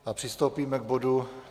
A přistoupíme k bodu